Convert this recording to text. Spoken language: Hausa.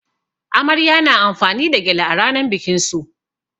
Amarya na amfani da gyale a rannan bikin su.